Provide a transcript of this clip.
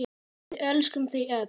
Við elskum þau öll.